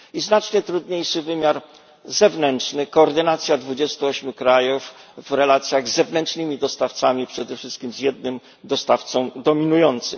I znacznie trudniejszy wymiar zewnętrzny koordynacja 28 krajów w relacjach z zewnętrznymi dostawcami, przede wszystkim z jednym dostawcą dominującym.